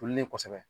Tolilen kɔfɛ